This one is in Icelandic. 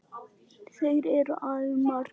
Þeir eru æði margir.